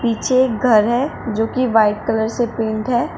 पीछे एक घर है जो कि व्हाइट कलर से पेंट है।